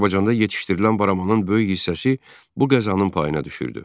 Azərbaycanda yetişdirilən baramanın böyük hissəsi bu qəzanın payına düşürdü.